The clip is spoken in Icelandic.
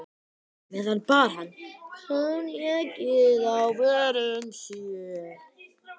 meðan bar hann koníakið að vörum sér.